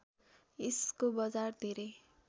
यसको बजार धेरै